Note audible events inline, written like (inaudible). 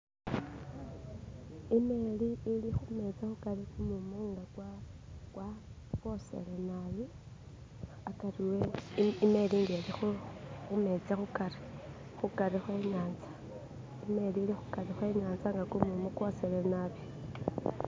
"(skip)" imeeli ilikhumeetsi khukari kumumu nga kwoshele nabi akari ehh imeeli ilikhumetsi khukari khwe inyatsa nga kumumu kwoshele nabi.